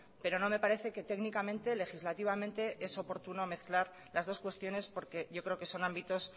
pero no me parece que técnicamente legislativamente es oportuno mezclar las dos cuestiones porque yo creo que son ámbitos